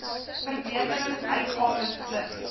verbeterings uitgawes plus